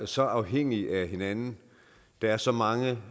så afhængige af hinanden der er så mange